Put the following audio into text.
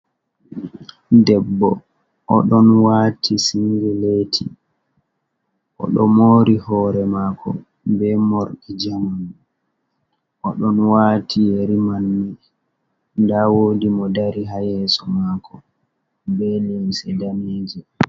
Debbo oɗon wati singeleti oɗo mori hore mako be morɗi njaman oɗon wati yeri manne nda woɗi mo dari ha yeso mako be limse daneje.